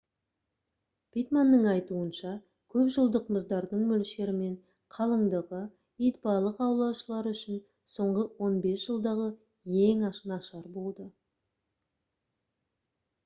питтманның айтуынша көпжылдық мұздардың мөлшері мен қалыңдығы итбалық аулаушылар үшін соңғы 15 жылдағы ең нашар болды